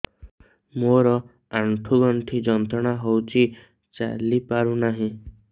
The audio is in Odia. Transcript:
ମୋରୋ ଆଣ୍ଠୁଗଣ୍ଠି ଯନ୍ତ୍ରଣା ହଉଚି ଚାଲିପାରୁନାହିଁ